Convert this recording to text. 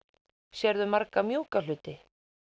sérðu marga mjúka hluti